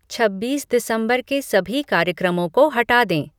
छब्बीस दिसंबर के सभी कार्यक्रमों को हटा दें